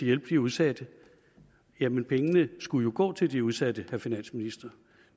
hjælpe de udsatte jamen pengene skulle jo gå til de udsatte vil finansministeren